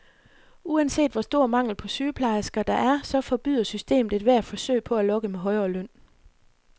Uanset hvor stor mangel på sygeplejeresker der er, så forbyder systemet ethvert forsøg på at lokke med højere løn.